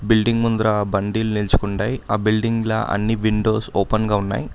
Building ముంద్ర బండిలు నిల్చుగుండై ఆ బిల్డింగ్ల అన్ని విండోస్ ఓపెన్ గా ఉన్నాయి.